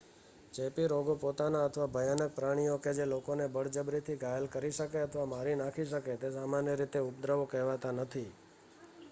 ચેપી રોગો પોતે અથવા ભયાનક પ્રાણીઓ કે જે લોકોને બળજબરીથી ઘાયલ કરી શકે અથવા મારી નાખી શકે તે સામાન્ય રીતે ઉપદ્રવો કહેવાતાં નથી